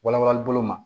Walawalanli bolo ma